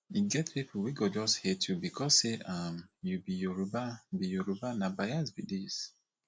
e get pipo wey go just hate you becos say um you be yoruba be yoruba na bais be dis